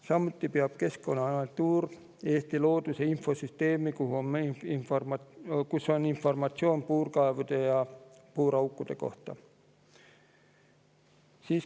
Samuti peab Keskkonnaagentuur Eesti looduse infosüsteemi, kus on informatsioon puurkaevude ja puuraukude kohta.